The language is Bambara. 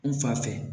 N fa fɛ